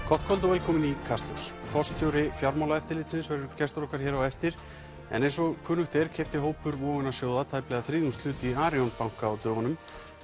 gott kvöld og velkomin í Kastljós forstjóri Fjármálaeftirlitsins verður gestur okkar hér á eftir en eins og kunnugt er keypti hópur vogunarsjóða tæplega þriðjungshlut í Arion banka á dögunum